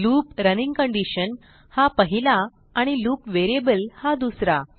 loop running condition हा पहिला आणि लूप व्हेरिएबल हा दुसरा